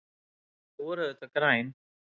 Þau voru auðvitað græn.